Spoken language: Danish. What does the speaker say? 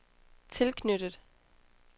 tilknyttet